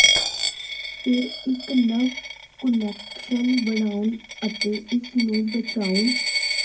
ਫਿਰ ਇੱਕ ਨਵ ਕੁਨੈਕਸ਼ਨ ਬਣਾਉਣ ਅਤੇ ਇਸ ਨੂੰ ਬਚਾਉਣ